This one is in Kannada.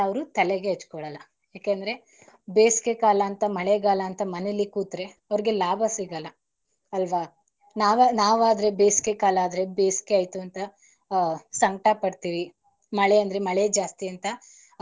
ಮಳೆಗಾಲ ಅಂತ, ಮನೇಲಿ ಕೂತ್ರೆ ಅವರೆಗೆ ಲಾಭ ಸಿಗಲ್ಲ ಅಲ್ವಾ ನಾವ್~ ನಾವದ್ರೆ ಬೇಸಿಗೆಕಾಲ ಆದರೆ ಬೇಸಿಗೆ ಆಯ್ತು ಅಂತ ಹ್ ಸಂಕಟ ಪಡ್ತೀವಿ ಮಳೆ ಅಂದ್ರೆ ಮಳೆ ಜಾಸ್ತಿ ಅಂತ.